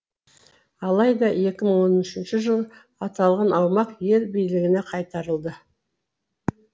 алайда екі мың он үшінші жылы аталған аумақ ел билігіне қайтарылды